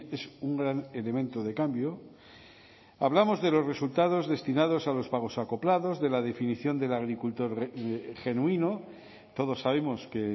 es un gran elemento de cambio hablamos de los resultados destinados a los pagos acoplados de la definición del agricultor genuino todos sabemos que